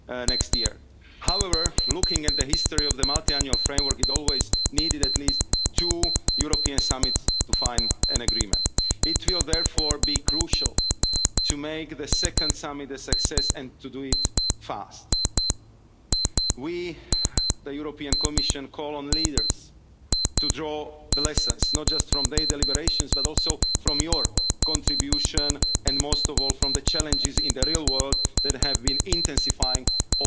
next year. However, looking at the history of the Multiannual Financial Framework it has always needed at least two European summits to find an agreement. It will therefore be crucial to make the second summit a success and to do it quickly. We, the European Commission, call on leaders to draw lessons, not just from their deliberations but also from your contribution and, most of all, from the challenges in the real world that have been intensifying in